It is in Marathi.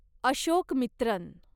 अशोकमित्रन